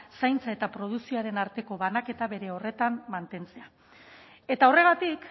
zaintza eta produkzioaren arteko banaketa bere horretan mantentzea eta horregatik